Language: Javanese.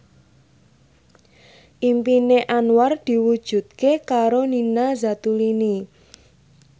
impine Anwar diwujudke karo Nina Zatulini